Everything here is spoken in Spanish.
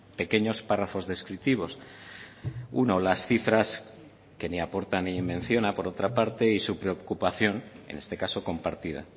pequeños párrafos descriptivos uno las cifras que ni aporta ni menciona por otra parte y su preocupación en este caso compartida